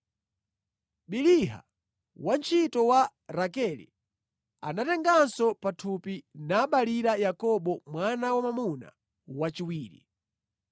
Biliha, wantchito wa Rakele, anatenganso pathupi nabalira Yakobo mwana wa mwamuna wachiwiri.